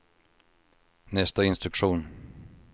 nästa instruktion